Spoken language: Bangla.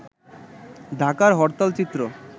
ঢাকার হরতাল চিত্র